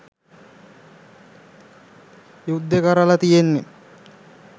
යුද්දේ කරලා තියෙන්නේ